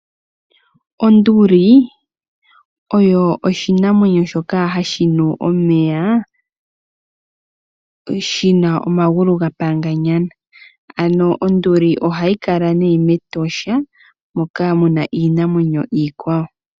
Onduli oyo oshinamwenyo shoka hashinu omeya shina omangulu gapanganyana, ano Onduli ohayi kala mEtosha moka muna Iinamwenyo iikwawo.